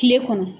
Kile kɔnɔ